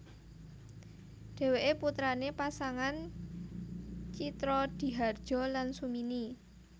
Dheweke putrane pasangan Tjitrodihardjo lan Sumini